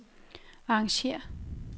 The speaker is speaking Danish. arrangér